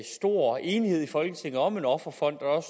stor enighed i folketinget om en offerfond og